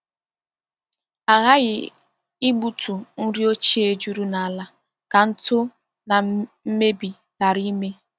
A ghaghị igbutu nri ochie juru n’ala ka ntụ na mmebi ghara ime.